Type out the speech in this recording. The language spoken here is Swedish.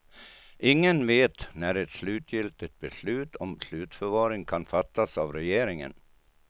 Ingen vet när ett slutgiltigt beslut om slutförvaring kan fattas av regeringen.